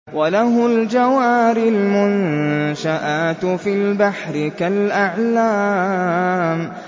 وَلَهُ الْجَوَارِ الْمُنشَآتُ فِي الْبَحْرِ كَالْأَعْلَامِ